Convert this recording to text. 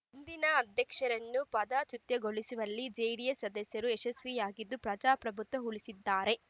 ಹಿಂದಿನ ಅಧ್ಯಕ್ಷರನ್ನು ಪದಚ್ಯುತಗೊಳಿಸುವಲ್ಲಿ ಜೆಡಿಎಸ್ ಸದಸ್ಯರು ಯಶಸ್ವಿಯಾಗಿದ್ದು ಪ್ರಜಾಪ್ರಭುತ್ವ ಉಳಿಸಿದ್ದಾರೆ